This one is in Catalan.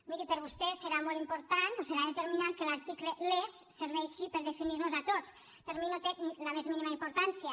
miri per vostè serà molt important o serà determinant que l’article les serveixi per definir nos a tots per mi no té la més mínima importància